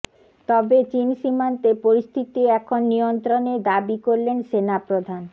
তবে চিন সীমান্তে পরিস্থিতি এখন নিয়ন্ত্রণে দাবি করলেন সেনা প্রধান